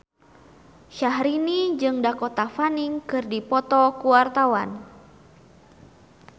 Syahrini jeung Dakota Fanning keur dipoto ku wartawan